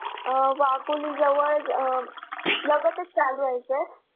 अं वाघोली जवळ अं लगतच चालू आहे sir.